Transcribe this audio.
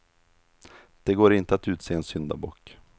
Det går inte att utse en syndabock.